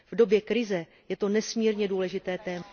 V době krize je to nesmírně důležité téma.